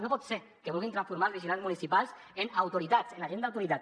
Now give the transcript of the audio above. no pot ser que vulguin transformar els vigilants municipals en autoritats en agent d’autoritat